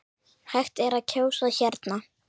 Hægt er að kjósa hérna.